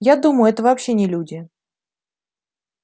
я думаю это вообще не люди